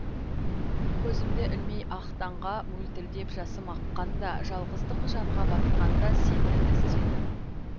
көзімді ілмей ақ таңға мөлтілдеп жасым аққанда жалғыздық жанға батқанда сені іздедім